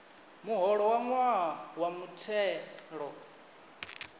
muholo wa ṅwaha wa mutheli